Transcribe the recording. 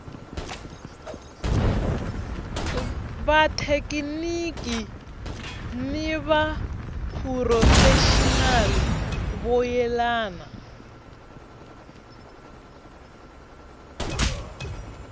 vathekiniki ni vaphurofexinali vo yelana